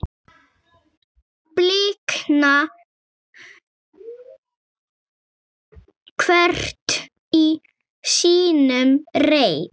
blikna hvert í sínum reit